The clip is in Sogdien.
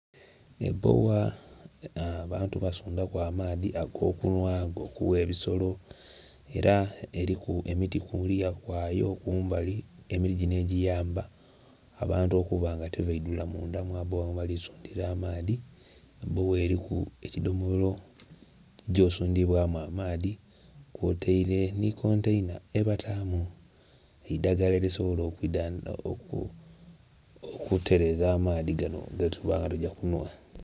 Ebbogha nga abantu basundha ku amaadhi agokunhwa agokugha ebisolo era eriku emiti kuluya kwayo kumbali emiti jino egiyamba abantu okuba nga tibadhula mundha mwa bbogha mwebalisundhira amaadhi, ebbogha eriku ekidhomolo ekigya osundhibwa amaadhi kw'otaire ni kontaina yebatamu eidhagala erisobola okwidhandhaba otereza amaadhi gano getuba nga tugya kunhwa.